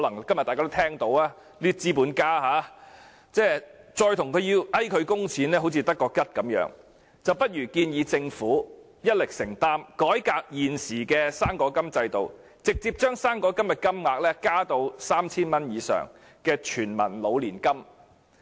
今天大家也聽到這些資本家的發言，再勸他們供款，亦只是徒然，不如建議政府一力承擔，改革現時的"生果金"制度，直接將"生果金"金額增加至 3,000 元以上，作為全民老年金。